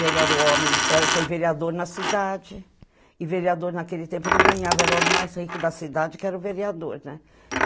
Ele era o homem, era foi vereador na cidade e vereador naquele tempo não ganhava, era o homem mais rico da cidade que era o vereador, né?